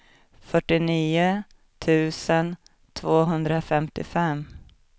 fyrtionio tusen tvåhundrafemtiofem